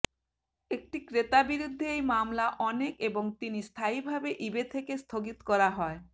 একটি ক্রেতা বিরুদ্ধে এই মামলা অনেক এবং তিনি স্থায়ীভাবে ইবে থেকে স্থগিত করা হয়